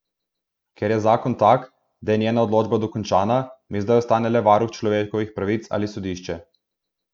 Ker je zakon tak, da je njena odločba dokončna, mi zdaj ostane le varuh človekovih pravic ali sodišče.